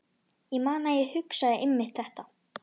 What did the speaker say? Ég man að ég hugsaði einmitt þetta.